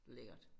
Lækkert